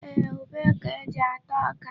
Ee, ube ka e ji ata ọka.